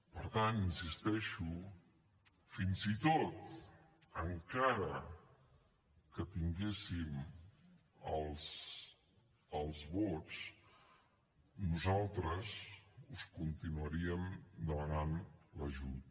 per tant hi insisteixo fins i tot encara que tinguéssim els vots nosaltres us continuaríem demanant l’ajut